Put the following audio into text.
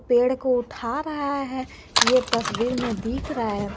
पेड़ को उठा रहा है ये तस्वीर में दिख रहा है।